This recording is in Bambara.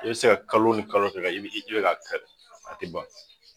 I bi se ka kalo ni kalo kɛ i i bi ka a tigɛ a te ban .